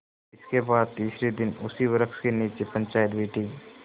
इसके बाद तीसरे दिन उसी वृक्ष के नीचे पंचायत बैठी